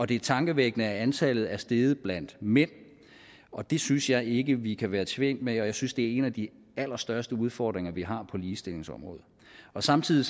det er tankevækkende at antallet er steget blandt mænd og det synes jeg ikke vi kan være tjent med jeg synes det er en af de allerstørste udfordringer vi har på ligestillingsområdet samtidig